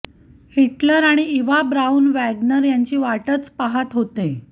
Hitler आणि Eva Braun Wagner यांची वाटच पाहात होते